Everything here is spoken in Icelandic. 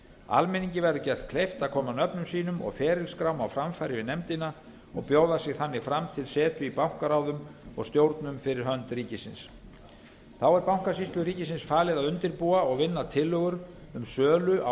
almenningi verður gert kleift að koma nöfnum sínum og ferilskrám á framfæri við nefndina og bjóða sig þannig fram til setu í bankaráðum og stjórnum fyrir hönd ríkisins þá er bankasýslu ríkisins falið að undirbúa og vinna tillögur um sölu á